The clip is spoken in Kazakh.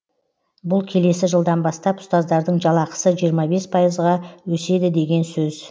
бұл келесі жылдан бастап ұстаздардың жалақысы жиырма бес пайызға өседі деген сөз